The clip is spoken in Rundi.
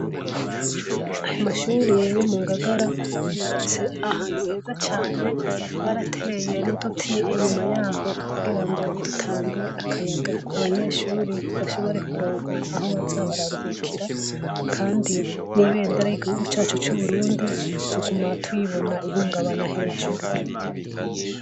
Amashure yo Mungagara, yubatse ahantu heza cane, barateye n'uduti inyuma yaho kugira ngo dutange akayaga abanyeshure bashire kuronka aho baza bararuhukira Kandi n'ibemdera ry'igihugu cacu c'Uburundi tuguma turibona rihungabana hejuru.